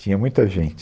Tinha muita gente.